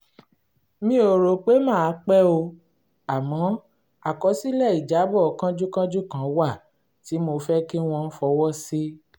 mi ò rò pé màá pẹ́ o àmọ́ àkọsílẹ̀ ìjábọ̀ kánjúkánjú kan wà tí mo fẹ́ kí wọ́n fọwọ́ sí